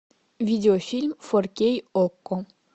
видео фильм фор кей окко